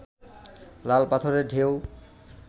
লাল পাথরের ঢেউ